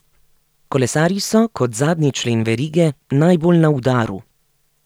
Kolesarji so, kot zadnji člen verige, najbolj na udaru.